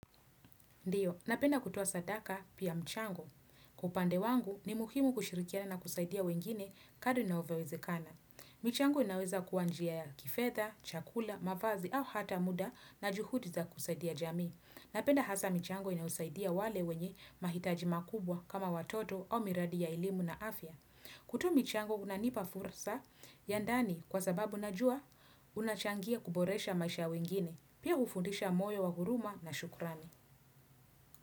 Ndiyo, napenda kutuoa sadaka pia mchango. Kwa upande wangu ni muhimu kushirikiana na kusaidia wengine kadri na inavyowezekana. Michango inaweza kuwa njia ya kifedha, chakula, mavazi au hata muda na juhudi za kusaidia jamii. Napenda hasa michango inaosaidia wale wenye mahitaji makubwa kama watoto au miradi ya elimu na afya. Kutoa michango kunanipa fursa ya ndani kwa sababu najua unachangia kuboresha maisha ya wengine. Pia hufundisha moyo wa huruma na shukurani.